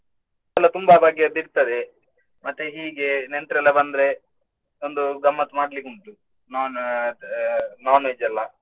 ಎಲ್ಲಾ ತುಂಬಾ ಬಗೆಯದು ಇರ್ತದೆ. ಮತ್ತೆ ಹೀಗೆ ನೆಂಟ್ರಲ್ಲ ಬಂದ್ರೆ ಒಂದು ಗಮ್ಮತ್ತ್ ಮಾಡ್ಲಿಕ್ ಉಂಟು, non ಅಹ್ non-veg ಎಲ್ಲಾ.